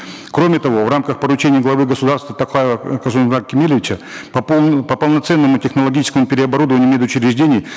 кроме того в рамках поручения главы государства токаева касым жомарта кемелевича по по полноценному технологическому переоборудованию мед учреждений